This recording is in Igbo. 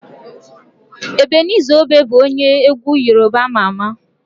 Ebeniza Obe bụ onye egwu Yorùbá ama ama.